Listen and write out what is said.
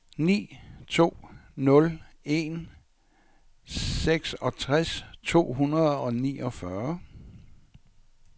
ni to nul en seksogtres to hundrede og niogfyrre